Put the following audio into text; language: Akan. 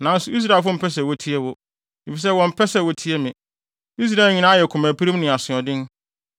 Nanso Israelfo mpɛ sɛ wotie wo, efisɛ wɔmpɛ sɛ wotie me. Israel nyinaa ayɛ komapirim ne asoɔden.